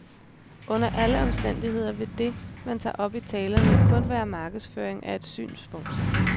Under alle omstændigheder vil det, man tager op i talerne, jo kun være markedsføring af et synspunkt.